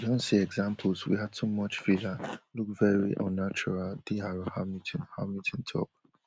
we don see examples wia too much filler look veri unnatural diar hamilton hamilton tok